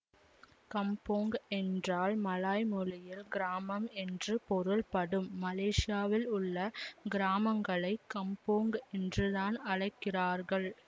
கம்போங் என்றால் மலாய் மொழியில் கிராமம் என்று பொருள்படும் மலேசியாவில் உள்ள கிராமங்களை கம்போங் என்றுதான் அழைக்கிறார்கள்